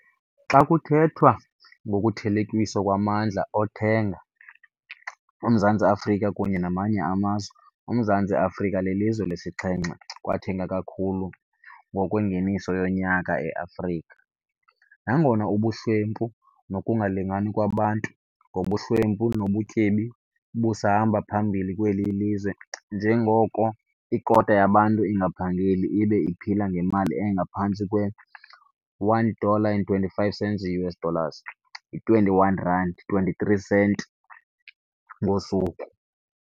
Xa kuthethwa ngokuthelekiswa kwamndla okuthenga oMzantsi Afrika kunye nawamanye amazwe, uMzantsi Afrika lilizwe lesixhenxe kwathenga kakhulu ngokwengeniso yonyaka eAfrika, nangona ubuhlwempu nokungalingani kwabantu ngokobuhlwempu nobutyebi busahamba phambili kweli lizwe, njengoko ikota yabantu ingaphangeli ibe iphila ngemali engaphantsi kwe-1 dollar and 25 cents i-US dollars, yi-R21,23 ngosuku.